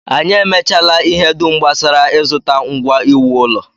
Anyị emechaala ihe dum gbasara ịzụta ngwa iwu ụlọ